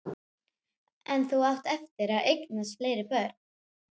En þú átt eftir að eignast fleiri börn.